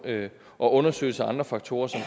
og undersøgelse af andre faktorer som